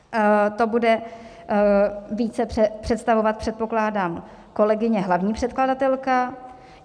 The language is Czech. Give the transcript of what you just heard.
To bude více představovat, předpokládám, kolegyně hlavní předkladatelka.